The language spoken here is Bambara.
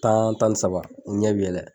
Tan tan ni saba u ɲɛ bi yɛlɛ.